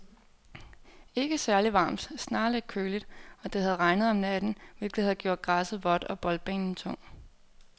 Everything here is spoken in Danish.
Ikke særligt varmt, snarere lidt køligt, og det havde regnet om natten, hvilket havde gjort græsset vådt og boldbanen tung.